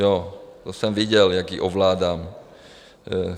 Jo, to jsem viděl, jak ji ovládám.